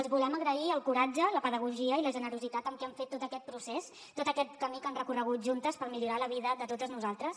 els hi volem agrair el coratge la pedagogia i la generositat amb què han fet tot aquest procés tot aquest camí que han recorregut juntes per millorar la vida de totes nosaltres